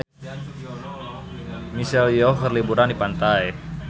Michelle Yeoh keur liburan di pantai